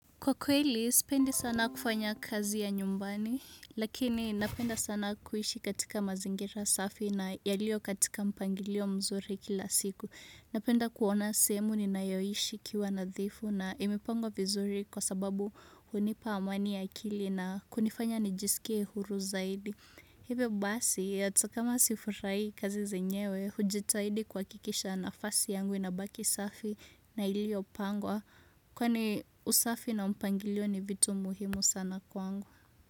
Kwa kweli, sipendi sana kufanya kazi ya nyumbani, lakini napenda sana kuishi katika mazingira safi na yalio katika mpangilio mzuri kila siku. Napenda kuona sehemu ninayoishi ikiwa nadhifu na imepangwa vizuri kwa sababu hunipa amani ya akili na hunifanya nijisikie huru zaidi. Hivyo basi hata kama sifurahi kazi zenyewe hujitaidi kuhakikisha nafasi yangu inabaki safi na iliyopangwa kwa ni usafi na mpangilio ni vitu muhimu sana kwangu.